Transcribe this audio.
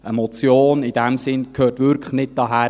Eine Motion in diesem Sinn gehört wirklich nicht hierhin;